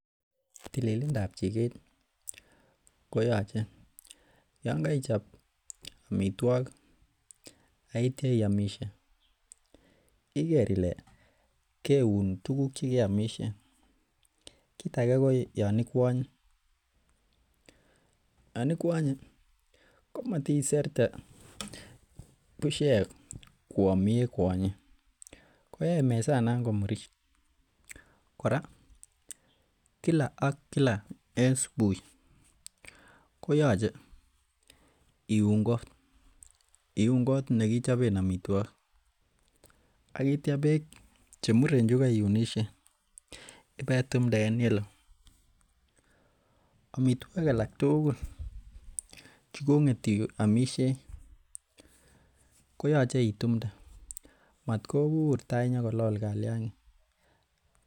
Tililindab chiket koyoche Yoon koichab amituakik aitia iamishe iker Ile keun tuguk chegeamisien. Kit age ko Yoon ikuanye, Yoon ikuanye komatiserte busiek koam yekuonyen yoe mesonon komurit kora Kila ak Kila en subui koyoche iun kot, iuun kot nekichoben amituokik aitya bek chemuren che koiunisien ipetumte en yeloo. Amituakik alak tugul che kong'et iomisie koyoche itumte maat kobur itai into ko lol kaliang'ik.